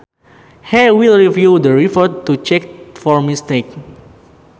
He will review the report to check for mistakes